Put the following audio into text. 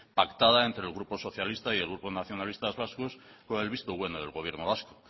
pactada entre el grupo socialista y el grupo nacionalistas vascos con el visto bueno del gobierno vasco